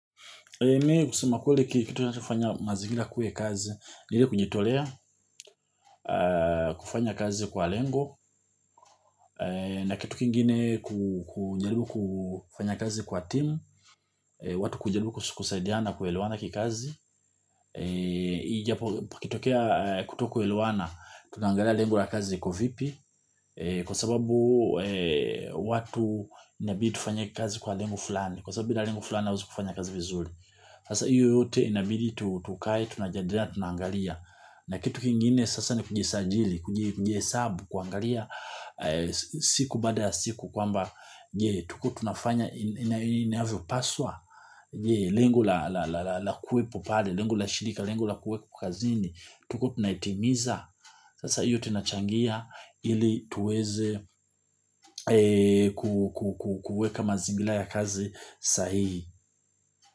Me kusema kweli kitu ninachofanya mazingira yakue kazi. Ni ile kujitolea kufanya kazi kwa lengo. Na kitu kingine kujaribu kufanya kazi kwa team. Watu kujaribu kusaidiana kuelewana kikazi ikitokea kutokuelewana tunaangalia lengo la kazi iko vipi. Kwa sababu watu inabidi tufanye kazi kwa lengo fulani. Kwa sababu binadamu fulani hawezi kufanya kazi vizuri. Sasa hiyo yote inabidi tukae, tunajadiliana, tunaangalia. Na kitu kingine sasa ni kujisajili, kujihesabu, kuangalia siku baada ya siku kwamba je tukuwe tunafanya inayavyopaswa, je lengo la kuwepo pale, lengo la shirika, lengo la kuwekwa kazini, tukuwe tunaitimiza. Sasa hiyo yote inachangia ili tuweze kuuweka mazingira ya kazi sahihi.